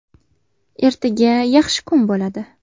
Ertaga yaxshi kun bo‘ladi”.